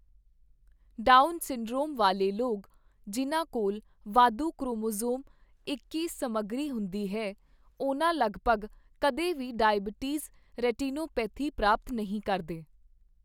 Down syndrome ਵਾਲੇ ਲੋਕ, ਜਿਨ੍ਹਾਂ ਕੋਲ ਵਾਧੂ ਕ੍ਰੋਮੋਸੋਮ ਇੱਕੀ ਸਮੱਗਰੀ ਹੁੰਦੀ ਹੈ, ਉਹਨਾਂ ਲਗਭਗ ਕਦੇ ਵੀ ਡਾਇਬਟੀਜ਼ ਰੈਟੀਨੋਪੇਥੀ ਪ੍ਰਾਪਤ ਨਹੀਂ ਕਰਦੇ ।